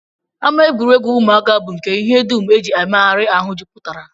Ama egwuregwu ụmụaka bụ nke ihe dum e ji emegharị ahụ jupụtara